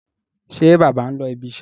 Ṣé bàbá ń lọ ibiṣẹ́?